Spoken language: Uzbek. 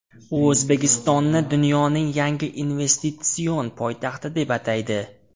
U O‘zbekistonni dunyoning yangi investitsion poytaxti deb ataydi.